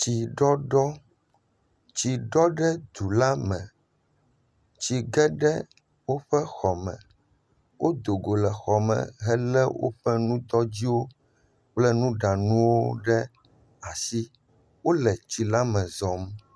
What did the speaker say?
Tsiɖɔɖɔ. Tsi ɖɔ ɖe dulame. Tsi ge ɖe xɔ me. Wodo go le xɔ me. Wodo go le xɔ me le woƒe nutɔtsiwo kple nuɖanuwo ɖe asi. Wòle tsi la me zɔm.